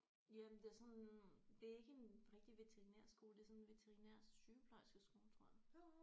Jamen det er sådan det er ikke en rigtig veterinærskole det er sådan en veterinær sygeplejerskeskole tror jeg